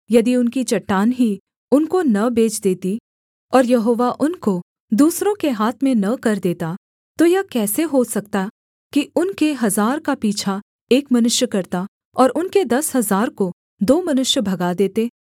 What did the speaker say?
यदि उनकी चट्टान ही उनको न बेच देती और यहोवा उनको दूसरों के हाथ में न कर देता तो यह कैसे हो सकता कि उनके हजार का पीछा एक मनुष्य करता और उनके दस हजार को दो मनुष्य भगा देते